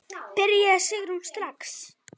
Byrjaðu Sigrún, strax.